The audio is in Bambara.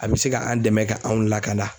A bɛ se ka an' dɛmɛ ka anw lakanda